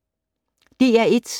DR1